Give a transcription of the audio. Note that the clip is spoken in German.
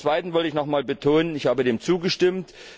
Zum Zweiten wollte ich noch einmal betonen Ich habe dem zugestimmt.